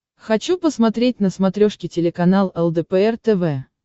хочу посмотреть на смотрешке телеканал лдпр тв